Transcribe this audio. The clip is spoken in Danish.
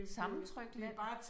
Sammentrykt land